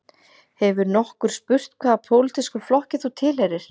Hefur nokkur spurt hvaða pólitískum flokki þú tilheyrir